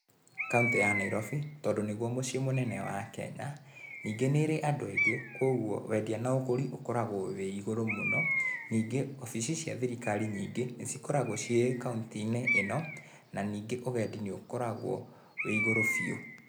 Kauntĩ ya Nairobi, tondũ nĩguo mũciĩ mũnene wa Kenya, ningĩ nĩ ĩrĩ andũ aingĩ kwoguo wendia na ũgũri ũkoragũo wĩ igũrũ mũno, ningĩ wabici cia thirikari nyingĩ nĩ cikoragũo ciĩ kaũntĩ-inĩ ĩno, na ningĩ ũgendi nĩ ũkoragũo wĩ igũrũ biũ.